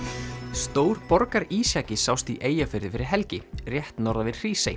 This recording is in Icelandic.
stór borgarísjaki sást í Eyjafirði fyrir helgi rétt norðan við Hrísey